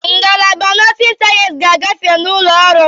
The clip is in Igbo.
Ngalaba nọọsịn sayensị ga-agafe n'ụlọ ọhụrụ.